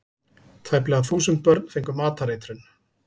Tæplega þúsund börn fengu matareitrun